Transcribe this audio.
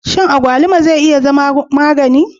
Shin abaluma zai iya zama magani?